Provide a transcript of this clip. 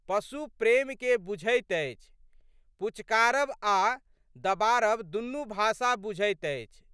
पशु प्रेमकेँ बुझैत अछि। पुचकारब आ दबारब दुनुक भाषा बुझैत अछि।